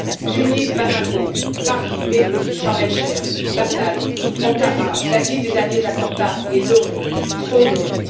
Syrie. Tunis, Bamako, Paris, Beyrouth, Charm el Cheikh, Bagdad, Ankara, la liste des derniers attentats est longue, trop longue.